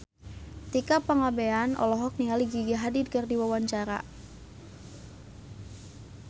Tika Pangabean olohok ningali Gigi Hadid keur diwawancara